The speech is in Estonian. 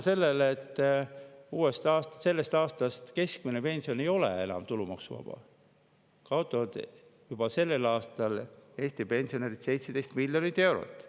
Seetõttu, et sellest aastast keskmine pension ei ole enam tulumaksuvaba, kaotavad juba sellel aastal Eesti pensionärid 17 miljonit eurot.